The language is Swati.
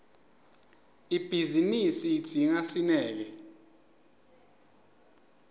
ibhizinisi idzinga sineke